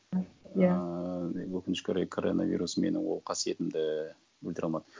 иә ыыы өкінішке орай коронавирус менің ол қасиетімді ііі өлтіре алмады